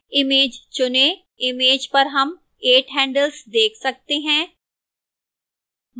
image चुनें image पर हम 8 handles देख सकते हैं